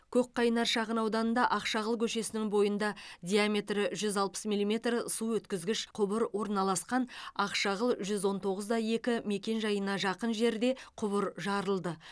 көкқайнар шағынауданында ақшағыл көшесінің бойында диаметрі жүз алпыс милиметр су өткізгіш құбыр орналасқан ақшағыл жүз он тоғыз да екі мекен жайына жақын жерде құбыр жарылды